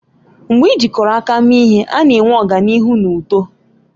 Mgbe ị jikọrọ aka mee ihe, a na-enwe ọganihu na uto